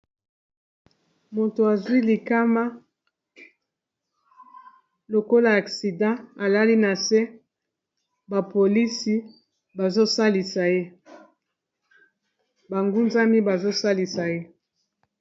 Moto azwi likama lokola accident alali na se ba polisi bazo salisa ye ba ngunzami bazo salisa ye.